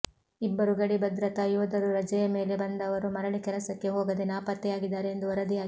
ಇಬ್ಬರು ಗಡಿ ಭದ್ರಾತಾ ಯೋಧರು ರಜೆಯ ಮೇಲೆ ಬಂದವರು ಮರಳಿ ಕೆಲಸಕ್ಕೆ ಹೋಗದೆ ನಾಪತ್ತೆಯಾಗಿದ್ದಾರೆ ಎಂದು ವರದಿಯಾಗಿದೆ